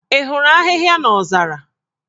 Ị hụrụ ahịhịa n'ozara?